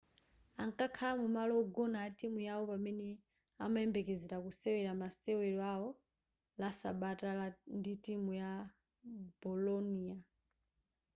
ankakhala mumalo wogona a timu yawo pamene amayembekezera kusewera masewero awo la sabata ndi timu ya bolonia